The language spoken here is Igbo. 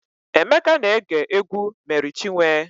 Emeka na-ege egwu Mery Chiwe.